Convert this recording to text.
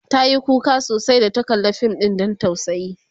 tayi kuka sosai da ta kalla Fim ɗin Dan tausayi